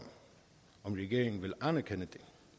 regeringen vil anerkende